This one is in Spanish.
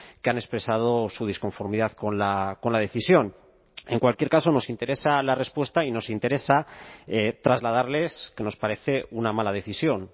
que han expresado su disconformidad con la decisión en cualquier caso nos interesa la respuesta y nos interesa trasladarles que nos parece una mala decisión